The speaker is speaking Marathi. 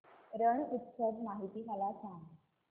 रण उत्सव माहिती मला सांग